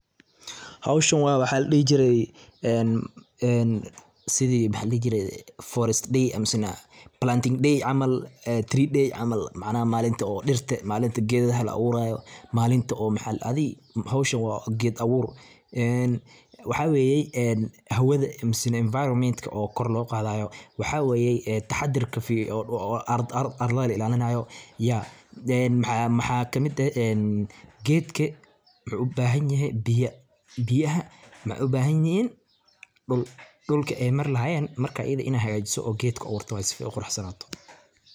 Howshan waa waxa ladhihi jirey een sidii maxa ladhihi jiree forest day amasana planting day camal tree day camal macnaha malinta oo dhirte malinta gedaha la abuurayo malinta oo maxa adin howshan waa ged abuur een waxa weye hawada misen enfairomentka oo kor loo qadayo, waxa weye taxadarka arlada oo la ilaalinayo maxa kamid eh gedka muxu ubahan yehe biya, biyaha mahay ubahan yihin dhul, dhulka ay Mar lahayeen marka ayade in ad hagajiso od ged ku abuurto waye sifo ay uquruxsanato